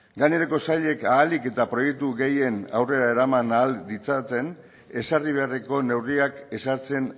gainerako sailek ahalik eta proiektu gehien aurrera eraman ahal ditzaten ezarri beharreko neurriak ezartzen